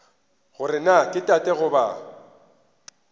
gore na ke tate goba